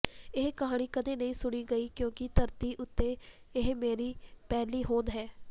ਇਹ ਕਹਾਣੀ ਕਦੇ ਨਹੀਂ ਸੁਣੀ ਗਈ ਕਿਉਂਕਿ ਧਰਤੀ ਉੱਤੇ ਇਹ ਮੇਰੀ ਪਹਿਲੀ ਹੋਂਦ ਹੈ